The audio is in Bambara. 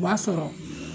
O b'a sɔrɔ